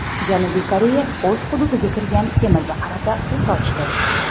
Janubiy Koreya o‘z hududiga kirgan kemaga qarata o‘t ochdi.